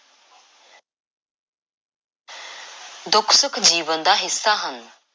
ਦੁੱਖ–ਸੁੱਖ ਜੀਵਨ ਦਾ ਹਿੱਸਾ ਹਨ।